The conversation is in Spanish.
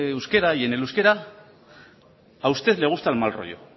euskera y en el euskera a usted le gusta el mal rollo